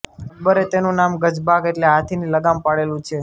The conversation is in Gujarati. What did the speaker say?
અકબરે તેનું નામ ગજબાધ એટલે હાથીની લગામ પાડેલું છે